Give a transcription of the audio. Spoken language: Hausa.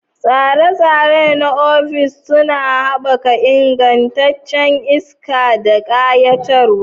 Tsire-tsire na ofis suna haɓaka ingancin iska da ƙayatarwa.